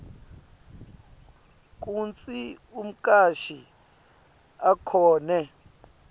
kutsi umcashi akhone